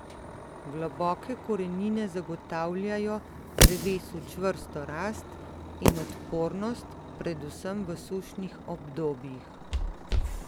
Globoke korenine zagotavljajo drevesu čvrsto rast in odpornost predvsem v sušnih obdobjih.